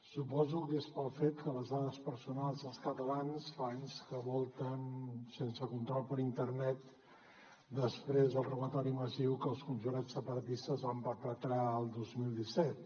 suposo que és pel fet que les dades personals dels catalans fa anys que volten sense control per internet després del robatori massiu que els conjurats separatistes van perpetrar el dos mil disset